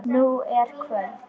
Nú er kvöld.